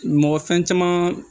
Mɔgɔ fɛn caman